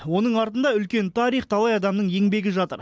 оның артында үлкен тарих талай адамның еңбегі жатыр